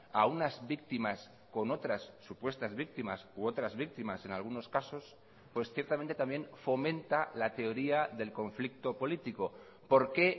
a unas víctimas con otras supuestas víctimas u otras víctimas en algunos casos pues ciertamente también fomenta la teoría del conflicto político por qué